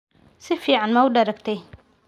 Si fiican ma u daragtay?